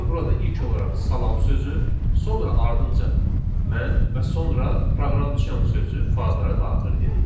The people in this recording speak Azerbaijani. Yəni burada ilk olaraq salam sözü, sonra ardınca mən və sonra proqramçiyam sözü fayllara daxil edilir.